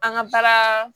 An ka baara